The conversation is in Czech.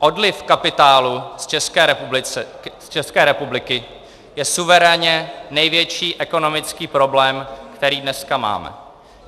Odliv kapitálu z České republiky je suverénně největší ekonomický problém, který dneska máme.